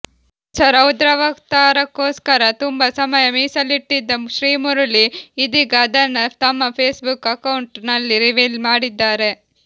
ಹೊಸ ರೌದ್ರಾವತಾರಕ್ಕೋಸ್ಕರ ತುಂಬಾ ಸಮಯ ಮೀಸಲಿಟ್ಟಿದ್ದ ಶ್ರೀಮುರುಳಿ ಇದೀಗ ಅದನ್ನ ತಮ್ಮ ಫೇಸ್ ಬುಕ್ ಅಕೌಂಟ್ ನಲ್ಲಿ ರಿವೀಲ್ ಮಾಡಿದ್ದಾರೆ